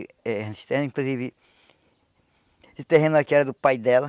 Esse terreno inclusive, esse terreno aqui era do pai dela.